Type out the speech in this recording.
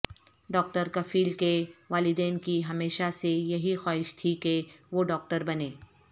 doctor Kafeel کے والدین کی ہمیشہ سے یہی خواہش تھی کہ وہ ڈاکٹر بنیں